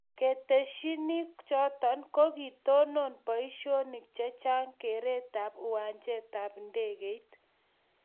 ketesyini choto, ko kiitonon boisionik che chang' keretab uwanjetab ndeget